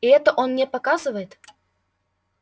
и это он показывает мне